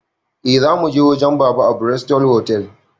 Eh, zamuje wajen baba a bristol otal